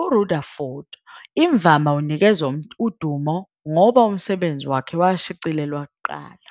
uRutherford imvama unikezwa udumo ngoba umsebenzi wakhe washicilelwa kuqala.